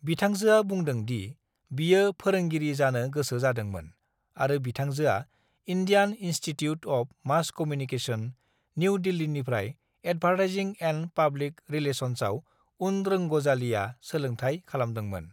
"बिथांजोआ बुंदों दि बियो फोरोंगिरि जानो गोसो जादोंमोन आरो बिथांजोआ Indian Institute of Mass Communication, New दिल्लीनिफ्राय एदभारटाइजिं एन्द पाब्लिक रिलेसन्साव उन रोंग'जालिया सोलोंथाइ खालामदोंमोन।"